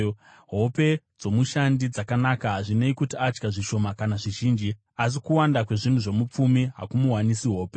Hope dzomushandi dzakanaka, hazvinei kuti adya zvishoma kana zvizhinji, asi kuwanda kwezvinhu zvomupfumi hakumuwanisi hope.